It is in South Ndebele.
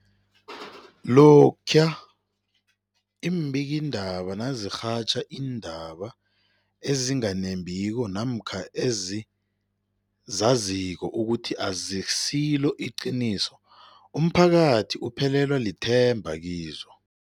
Lokhuya iimbikiindaba nazirhatjha iindaba ezinga nembiko namkha ezizaziko ukuthi azisiliqiniso, umphakathi uphelelwa lithemba kizo.